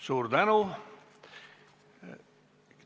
Suur tänu!